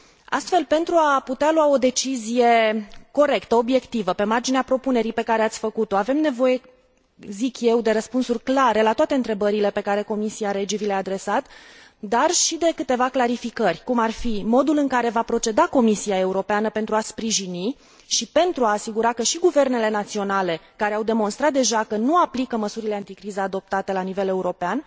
Astfel, pentru a putea lua o decizie corectă, obiectivă, pe marginea propunerii pe care ați făcut o, avem nevoie de răspunsuri clare la toate întrebările pe care Comisia REGI vi le a adresat, dar și de câteva clarificări, cum ar fi modul în care va proceda Comisia Europeană pentru a sprijini și pentru a se asigura că și guvernele naționale care au demonstrat deja că nu aplică măsurile anticriză adoptate la nivel european